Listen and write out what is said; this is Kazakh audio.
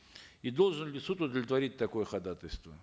и должен ли суд удовлетворить такое ходатайство